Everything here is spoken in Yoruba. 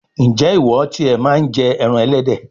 ǹjẹ́ ìwọ ti è màa ń jẹ ẹran ẹlẹ́dẹ̀?